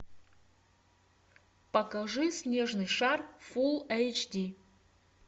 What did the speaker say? покажи снежный шар фулл эйч ди